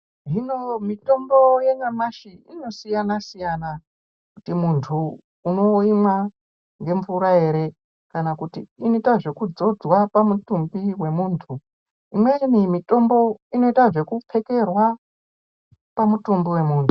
Hino mitombo yanyamashi inosiyana siyana kuti unoimwa nemvura ere kana unoita zvekudzodzwa pamutumbi wemuntu. Imweni mitombo inoita zvekupfekerwa pamutumbi wemuntu.